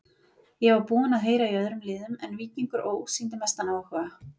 Ég var búinn að heyra í öðrum liðum en Víkingur Ó. sýndi mestan áhuga.